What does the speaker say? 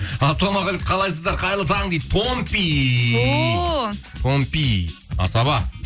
ассалаумағалейкум қалайсыздар қайырлы таң дейді томпи о томпи асаба